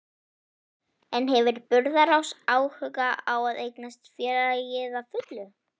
En hefur Burðarás áhuga á að eignast félagið að fullu?